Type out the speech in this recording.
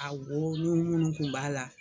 Awɔ, lilu in tun b'ala.